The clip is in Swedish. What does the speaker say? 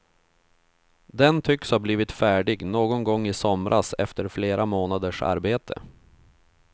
Den tycks ha blivit färdig någon gång i somras efter flera månaders arbete.